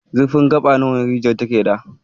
Zurfin gaba nawa rijiyar take da.